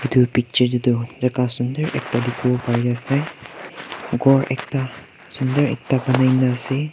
itu picture teduh jaka sundor ekta dikhi wo pari ase ghor ekta sundor ekta banai nah ase.